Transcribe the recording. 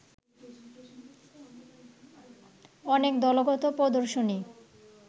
অনেক দলগত প্রদর্শনী